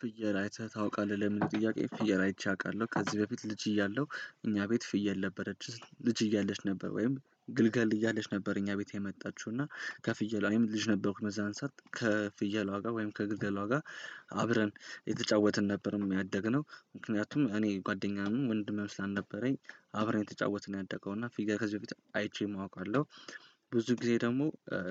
ፍየል አይተህ ታውቃለህ ለምን? ጥያቄ ፍየል አይቼ አውቃለሁ። ከዚህ በፊት ልጅ እያለሁ እኛ ቤት ፍየል ነበረች ልጅ እያለች ነበር። ወይም ግልጋል እያለች ነበር እኛ ቤት የመጣችው እና ከፍየለ ወይም ልጅ ነበርኩ መዛንሳት ከፍየሎጋ ወይም ከግልገሎጋ አብረን የተጫወትን ነበር። የሚያደግነው ምክንያቱም እኔ ጓደኛም ወንድሜ ስላልነበረኝ አብረን የተጫወትን ያደገው እና ፊገር ከዚህ በፊት አይቼም አውቃለው። ብዙ ጊዜ ደግሞ